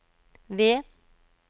V